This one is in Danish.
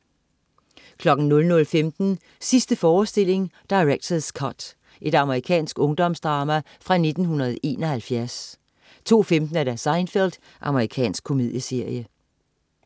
00.15 Sidste forestilling. Director's cut. Amerikansk ungdomsdrama fra 1971 02.15 Seinfeld. Amerikansk komedieserie